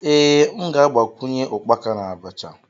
Ee, m ga-agbakwunye ukpaka na abacha